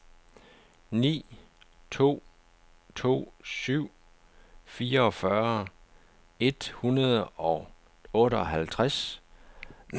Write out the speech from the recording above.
ni to to syv fireogfyrre et hundrede og otteoghalvtreds